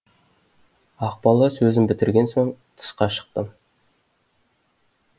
ақбала сөзін бітірген соң тысқа шықтым